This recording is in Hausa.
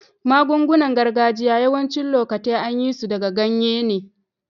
Magun-gunan gargajiya yawacin lokatai an yi su daga ganye ne.